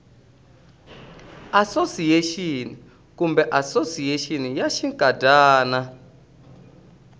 asosiyexini kumbe asosiyexini ya xinkadyana